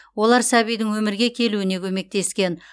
олар сәбидің өмірге келуіне көмектескен